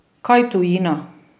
Kaj tujina?